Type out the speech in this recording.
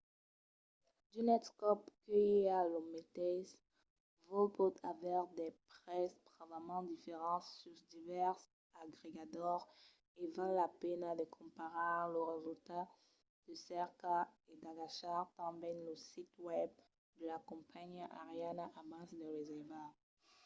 d'unes còps que i a lo meteis vòl pòt aver de prèses bravament diferents sus divèrses agregadors e val la pena de comparar los resultats de cerca e d'agachar tanben lo sit web de la companhiá aeriana abans de reservar